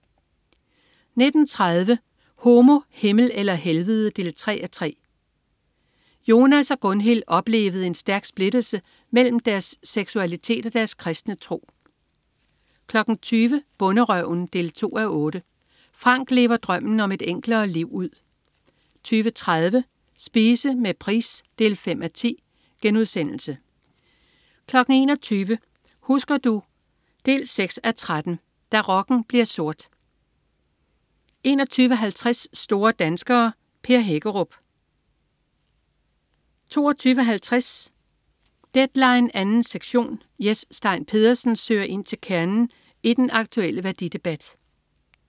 19.30 Homo, Himmel eller Helvede 3:3. Jonas og Gundhild oplevede en stærk splittelse mellem deres seksualitet og deres kristne tro 20.00 Bonderøven 2:8. Frank lever drømmen om et enklere liv ud 20.30 Spise med Price 5:10* 21.00 Husker du? 6:13. Da rocken bliver sort 21.50 Store danskere. Per Hækkerup 22.50 Deadline 2. sektion. Jes Stein Pedersen søger ind til kernen i den aktulle værdidebat